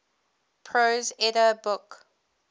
prose edda book